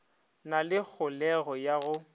na le kholego ya go